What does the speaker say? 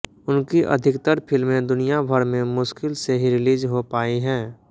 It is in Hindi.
उनकी अधिकतर फिल्में दुनियाभर में मुश्किल से ही रिलीज हो पाई हैं